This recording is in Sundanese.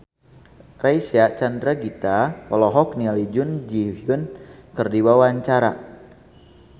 Reysa Chandragitta olohok ningali Jun Ji Hyun keur diwawancara